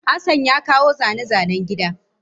Hassan ya kawo zane-zanen gida.